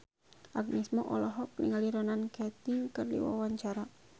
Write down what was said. Agnes Mo olohok ningali Ronan Keating keur diwawancara